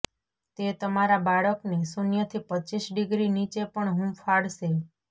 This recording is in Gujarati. તે તમારા બાળકને શૂન્યથી પચ્ચીસ ડિગ્રી નીચે પણ હૂંફાળશે